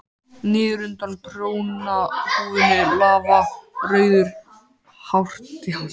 Niður undan prjónahúfunni lafa rauðar hártjásur.